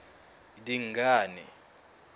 dingane